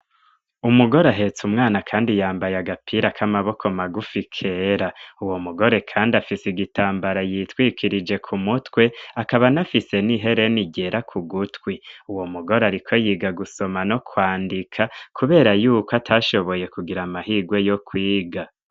Umugore ahetse umwana kandi yambaye agapira k'amaboko magufi kera. Uwo mugore kandi afise igitambara yitwikirije ku mutwe akaba nafise n'ihereni ryera ku gutwi. Uwo mugore ariko yiga gusoma no kwandika kubera yuko atashoboye kugira amahigwe yo kwiga.